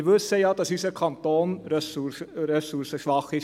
Wir wissen ja, dass unser Kanton ressourcenschwach ist.